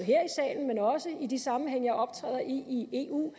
i de sammenhænge jeg optræder i i eu